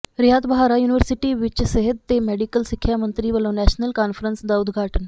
ਰਿਆਤ Bahra university ਵਿੱਚ ਸਿਹਤ ਤੇ ਮੈਡੀਕਲ ਸਿੱਖਿਆ ਮੰਤਰੀ ਵੱਲੋਂ ਨੈਸ਼ਨਲ ਕਾਨਫ਼ਰੰਸ ਦਾ ਉਦਘਾਟਨ